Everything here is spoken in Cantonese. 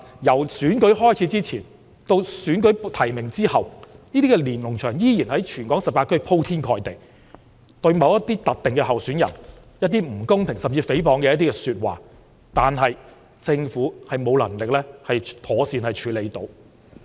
由選舉開始前，及至選舉提名後，這些連儂牆在全港18區鋪天蓋地，對某些特定的候選人發表不公平，甚至誹謗的言論，政府已沒有能力妥善處理。